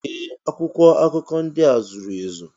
Ee! Akwụkwọ akụkọ ndị a zuru ezu.